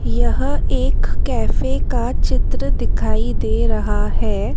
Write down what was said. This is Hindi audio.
यह एक कैफे का चित्र दिखाई दे रहा हैं।